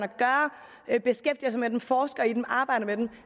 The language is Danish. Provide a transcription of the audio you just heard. at beskæftiger sig med dem forsker i dem og arbejder med dem